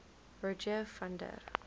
rogier van der